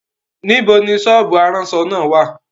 Níbo ni sọ́ọ́bù aránṣọ náà wà?